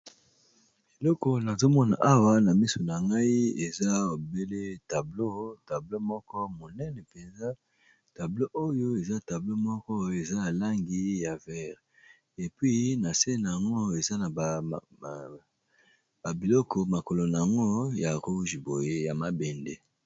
Eleko nazomona awa na miso na ngai eza obele tableau, tableau moko monene mpenza tableau oyo eza tableau moko eza n'a langi ya vert epi na se nango eza na ba biloko makolo nango ya rouge boye ya mabende